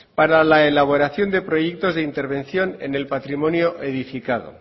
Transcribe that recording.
para la elaboración de proyectos de intervención en el patrimonio edificado